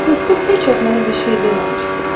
Dostum heç vaxt mənə bir şey deməmişdi.